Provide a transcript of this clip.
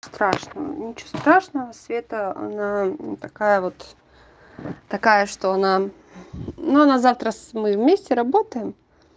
страшного ничего страшного света она такая вот такая что она ну она завтра мы вместе работаем